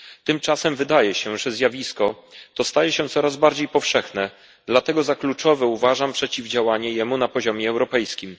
Tymczasem wydaje się, że zjawisko to staje się coraz bardziej powszechne, dlatego za kluczowe uważam przeciwdziałanie mu na poziomie europejskim.